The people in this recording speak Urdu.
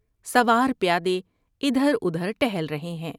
سوار پیادے ادھر ادھر ٹہل رہے ہیں